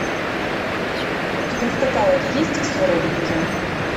у тебя в каталоге есть все ради нее